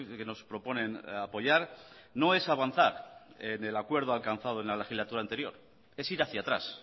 que nos proponen apoyar no es avanzar en el acuerdo alcanzado en la legislatura anterior es ir hacia atrás